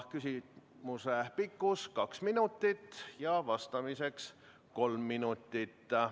Küsimuse pikkus on kaks minutit ja vastamiseks on aega kolm minutit.